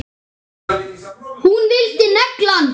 Hún vildi negla hann!